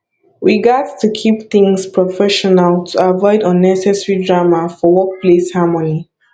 we gats to keep things professional to avoid unnecessary drama for workplace harmony